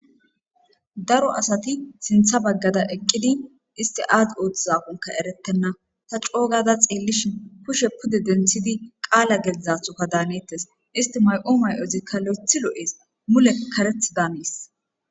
daro asati sintha baggara eqqidi isti aad ooththizaqonka erettenna ta coogada xiillishi pushe pude denthidi qaala gezdzathuka daanettes isti may7u may7ozikka lo7ethi lo7ees mule kareth daanees